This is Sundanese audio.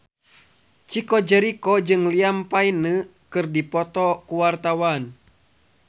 Chico Jericho jeung Liam Payne keur dipoto ku wartawan